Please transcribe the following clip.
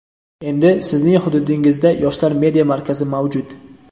endi Sizning hududingizda "Yoshlar media markazi" mavjud!.